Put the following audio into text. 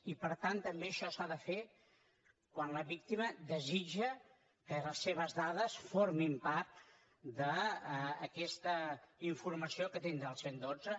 i per tant també això s’ha de fer quan la víctima desitja que les seves dades formin part d’aquesta informació que tindrà el cent i dotze